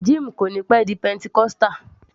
Jim kò níí pẹ́ di pentecostal